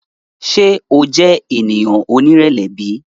Ṣe o jẹ eniyan onirẹlẹ bi?